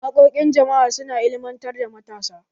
Wakokin jama'a su na ilimantar da matasa.